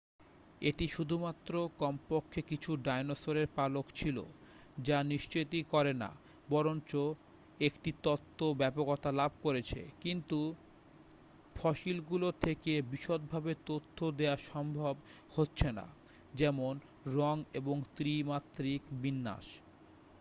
এটি শুধুমাত্র কমপক্ষে কিছু ডাইনোসরের পালক ছিল তা নিশ্চিতই করে না বরঞ্চ একটি তত্ত্ব ব্যাপকতা লাভ করেছে কিন্তু ফসিলগুলো থেকে বিশদভাবে তথ্য দেয়া সম্ভব হচ্ছে না যেমন রঙ এবং ত্রি-মাত্রিক বিন্যাস